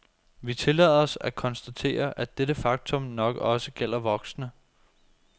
Vi tillader os at konstatere, at dette faktum nok også gælder voksne.